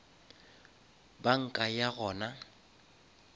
banka ya gona